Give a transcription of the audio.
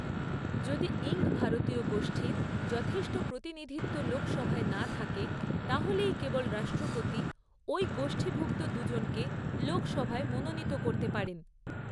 যদি ইঙ্গ ভারতীয় গোষ্ঠীর যথেষ্ট প্রতিনিধিত্ব লোক সভায় না থাকে তাহলেই কেবল রাষ্ট্রপতি ঐ গোষ্ঠীভুক্ত দু জনকে লোকসভায় মনোনীত করতে পারেন।